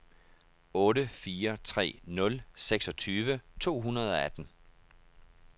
otte fire tre nul seksogtyve to hundrede og atten